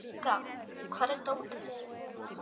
Bogga, hvar er dótið mitt?